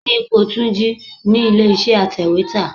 Kíni ipò Túnjí ni ilé iṣẹ́ atèwétà?